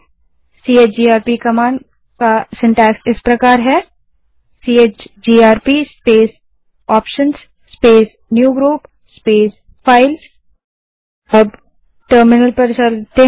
CHGRP command का रचनाक्रम syntax इस प्रकार है CHGRP space options space newgroup space files space CHGRP space options